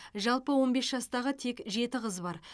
жалпы он бес жастағы тек жеті қыз бар